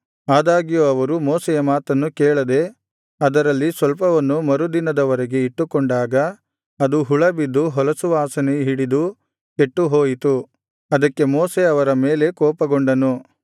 ಆದಾಗ್ಯೂ ಅವರು ಮೋಶೆಯ ಮಾತನ್ನು ಕೇಳದೆ ಅದರಲ್ಲಿ ಸ್ವಲ್ಪವನ್ನು ಮರು ದಿನದವರೆಗೆ ಇಟ್ಟುಕೊಂಡಾಗ ಅದು ಹುಳ ಬಿದ್ದು ಹೊಲಸುವಾಸನೆ ಹಿಡಿದು ಕೆಟ್ಟುಹೋಯಿತು ಅದಕ್ಕೆ ಮೋಶೆ ಅವರ ಮೇಲೆ ಕೋಪಗೊಂಡನು